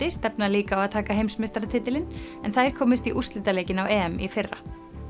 stefna líka á að taka heimsmeistaratitilinn þær komust í úrslitaleikinn á EM í fyrra